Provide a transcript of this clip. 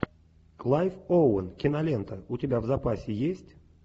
клайв оуэн кинолента у тебя в запасе есть